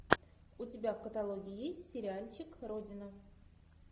у тебя в каталоге есть сериальчик родина